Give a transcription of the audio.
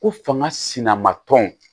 Ko fanga sina ma tɔn